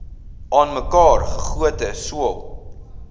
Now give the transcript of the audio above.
aanmekaar gegote sool